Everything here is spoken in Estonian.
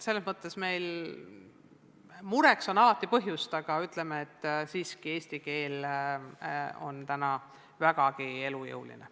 Selles mõttes on meil mureks küll alati põhjust, aga ütleme siiski, et eesti keel on vägagi elujõuline.